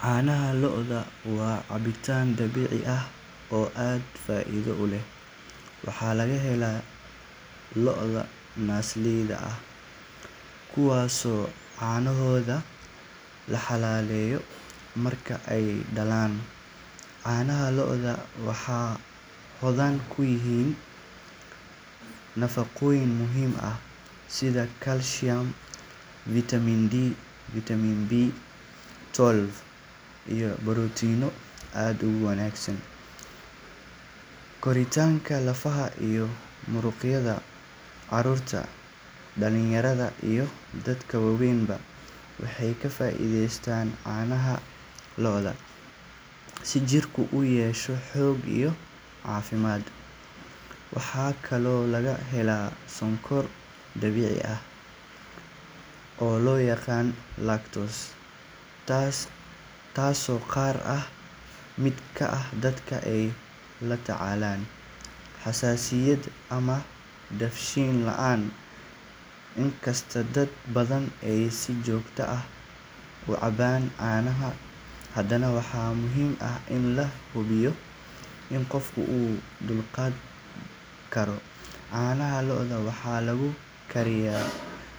Caanaha lo’da waa cabitaan dabiici ah oo aad faa’iido u leh. Waxaa laga helaa lo’da naasleyda ah kuwaasoo caanahooda la xalaaleeyo marka ay dhalaan. Caanaha lo’da waxay hodan ku yihiin nafaqooyin muhiim ah sida kaalshiyam, fitamiin D, fitamiin B twelve, iyo borotiinno aad ugu wanaagsan koritaanka lafaha iyo muruqyada. Carruurta, dhalinyarada, iyo dadka waaweynba waxay ka faa’iideystaan caanaha lo’da si jirka uu u yeesho xoog iyo caafimaad. Waxaa kaloo laga helaa sonkor dabiici ah oo loo yaqaan lactose, taasoo qaar ka mid ah dadka ay la tacaalaan xasaasiyad ama dheefshiid la’aan. Inkastoo dad badan ay si joogto ah u cabaan caanaha, haddana waxaa muhiim ah in la hubiyo in qofku u dulqaadan karo. Caanaha lo’da waxaa lagu kariyaa